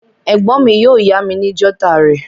Ègbón mi yio yá mi ni jotter rè